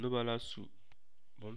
Noba la su bon.